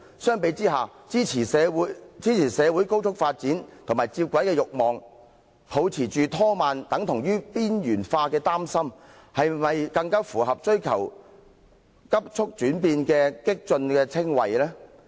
相比之下，支持社會高速發展和接軌的欲望，抱持"拖慢"等同"邊緣化"的憂心，是否更符合追求急促變化的"激進"稱謂？